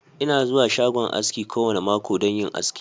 Ina zuwa shagon aski kowane mako don yin aski.